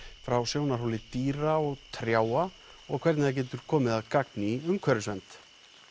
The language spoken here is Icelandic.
frá sjónarhóli dýra og trjáa og hvernig það getur komið að gagni í umhverfisvernd